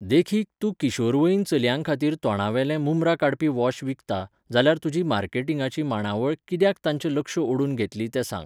देखीक, तूं किशोरवयीन चल्यांखातीर तोंडावेलें मुमरां काडपी वॉश विकता, जाल्यार तुजी मार्केटिंगाची मांडावळ कित्याक तांचे लक्ष ओडून घेतली तें सांग.